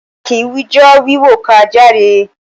A kì wijọ́ọ́ wíwò ká jàre.